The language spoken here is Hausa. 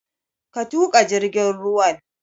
Ka tuƙa jirgin ruwan!